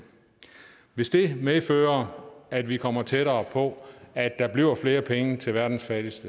hvis det medfører at vi kommer tættere på at der bliver flere penge til verdens fattigste